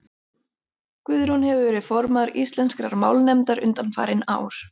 guðrún hefur verið formaður íslenskrar málnefndar undanfarin ár